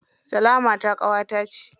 Salamata ƙawata ce.